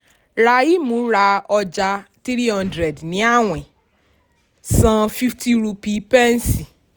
rahim rà ọjà three hundred ní àwìn; san fifty rupee pẹ̀nsì.